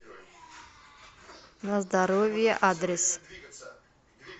на здоровье адрес